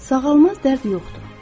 Sağalmaz dərd yoxdur.